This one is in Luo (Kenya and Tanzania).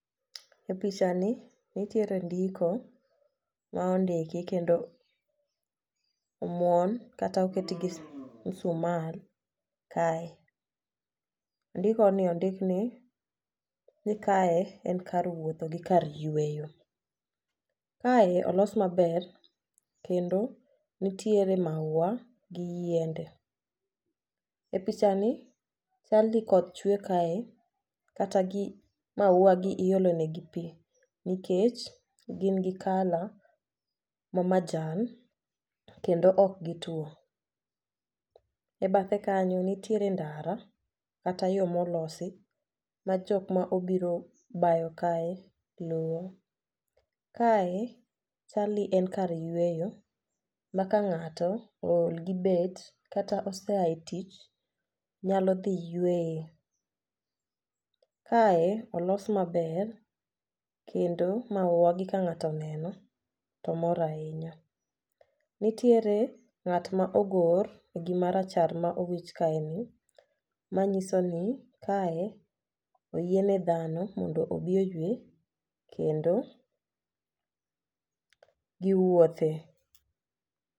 E picha ni nitiere ndiko ma ondiki kendo omwon kata oket gi musmal kae. Ndiko ni ondik ni ni kae en kar wuotho gi kar yweyo. Kae olos maber kendo nitiere maua gi yiende. E picha ni chal ni koth chwe kae kata gi maua gi iolo ne gi pii nikech gin gi kala ma majan kendo ok gituo. E bathe kanyo nitiere ndara kata yoo molosi ma jok mobiro bayo kae luwo. Kae chal ni en kar yweyo ma kang'ato ool gi bet kata oseaye tich nyalo dhi yweye. Kae olos maber kendo maua gi ka ng'ato oneno to mor ahinya . Nitiere ng'at ma ogor e gima rachar ma owich kae ni manyiso ni kae oyiene dhano mondo obi oywe kendo giwuothe.